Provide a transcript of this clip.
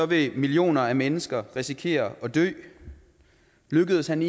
vil millioner af mennesker risikere at dø lykkes han